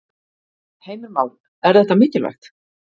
Heimir Már: Er þetta mikilvægt?